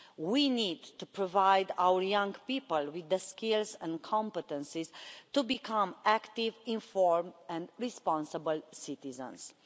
We need to provide our young people with the skills and competencies to become active, informed and responsible citizens.